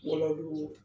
Walahi